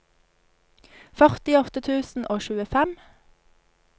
førtiåtte tusen og tjuefem